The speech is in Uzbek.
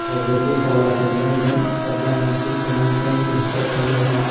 Hozirgi holatimda men istalgan raqib bilan jang qilishga tayyorman.